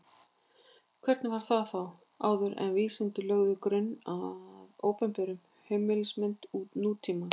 Hvernig var það þá áður en vísindin lögðu grunn að opinberri heimsmynd nútímans?